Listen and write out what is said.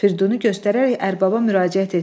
Firidunu göstərərək ərbaba müraciət etdi.